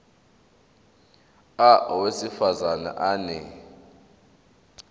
a owesifaz ane